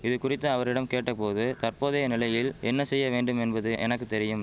இதுகுறித்து அவரிடம் கேட்ட போது தற்போதைய நிலையில் என்ன செய்ய வேண்டும் என்பது எனக்கு தெரியும்